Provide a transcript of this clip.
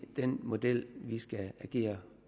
den model vi skal agere